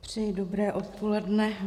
Přeji dobré odpoledne.